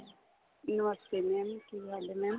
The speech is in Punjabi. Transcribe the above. ਨਮਸਤੇ mam ਕੀ ਹਾਲ ਏ mam